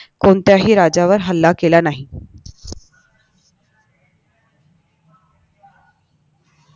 कोणत्याही राजावर हल्ला केला नाही